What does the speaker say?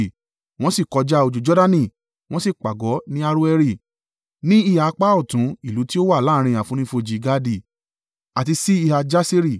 Wọ́n sì kọjá odò Jordani, wọ́n sì pàgọ́ ní Aroeri, ní ìhà apá ọ̀tún ìlú tí ó wà láàrín àfonífojì Gadi, àti sí ìhà Jaseri.